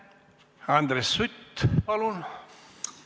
Andres Sutt, palun!